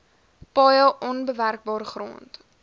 paaie onbewerkbare grond